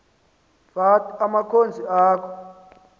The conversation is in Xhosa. fath abakhonzi akho